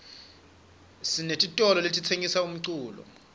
sinetitolole letitsengisa umculo